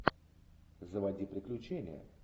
заводи приключения